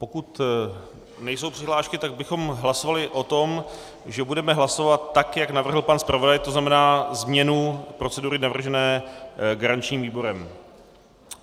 Pokud nejsou přihlášky, tak bychom hlasovali o tom, že budeme hlasovat tak, jak navrhl pan zpravodaj, to znamená změnu procedury navržené garančním výborem.